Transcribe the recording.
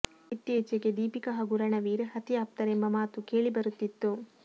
ಇತ್ತೀಚಿಗೆ ದೀಪಿಕಾ ಹಾಗೂ ರಣವೀರ್ ಅತಿ ಆಪ್ತರು ಎಂಬ ಮಾತು ಕೇಳಿಬರುತ್ತಿತ್ತು